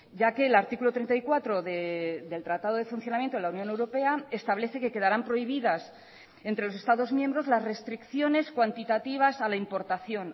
ya que el artículo treinta y cuatro del tratado de funcionamiento de la unión europea establece que quedarán prohibidas entre los estados miembros las restricciones cuantitativas a la importación